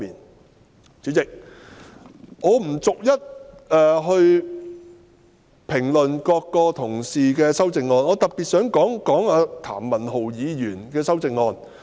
代理主席，我不逐一評論各位議員的修正案，我只想特別談論譚文豪議員的修正案。